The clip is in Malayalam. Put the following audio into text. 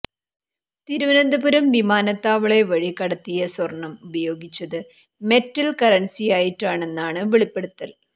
തിരുവനന്തപുരം വിമാനത്താവളെ വഴി കടത്തിയ സ്വർണം ഉപയോഗിച്ചത് മെറ്റൽ കറൻസിയായിട്ടാണെന്ന് വെളിപ്പെടുത്തൽ